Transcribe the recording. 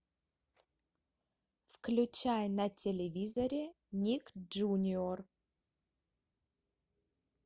включай на телевизоре ник джуниор